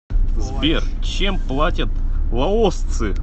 сбер чем платят лаосцы